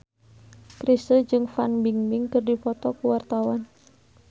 Chrisye jeung Fan Bingbing keur dipoto ku wartawan